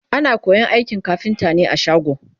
ana koyan aikin kafinta ne a shago